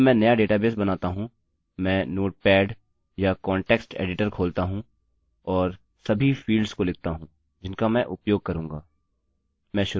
जब मैं नया डेटाबेस बनाता हूँ मैं नोटपेडnotepad या कॉन्टेक्स्ट एडिटर खोलता हूँ और सभी फील्ड्स को लिखता हूँ जिनका मैं उपयोग करूँगा